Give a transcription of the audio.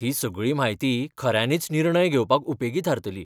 ही सगळी म्हायती खऱ्यांनीच निर्णय घेवपाक उपेगी थारतली.